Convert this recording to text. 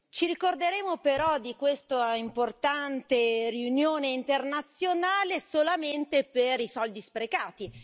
Ci ricorderemo però di questa importante riunione internazionale solamente per i soldi sprecati.